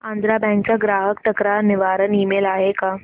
Andhra bank चा ग्राहक तक्रार निवारण ईमेल आहे का